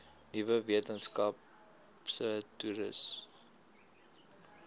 nuwe weskaapse toerismewet